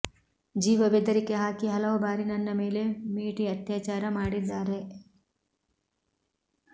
ಜೀವ ಬೆದರಿಕೆ ಹಾಕಿ ಹಲವು ಬಾರಿ ನನ್ನ ಮೇಲೆ ಮೇಟಿ ಅತ್ಯಾಚಾರ ಮಾಡಿದ್ದಾರೆ